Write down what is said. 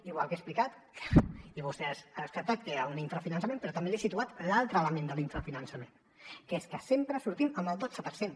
igual que he explicat i vostè ha descartat que hi ha un infrafinançament però també li he situat l’altre element de l’infrafinançament que és que sempre sortim amb el dotze per cent